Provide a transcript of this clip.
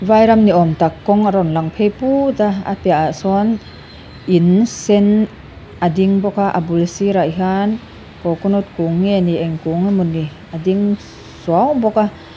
Vai ram ni awm tak kawng a rawn lang phei put a a piahah sawn in sen a ding bawka a bul sirah hian coconut kung nge ni eng kung emawni a ding suau bawk a.